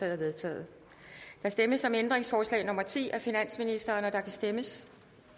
er vedtaget der stemmes om ændringsforslag nummer ti af finansministeren og der kan stemmes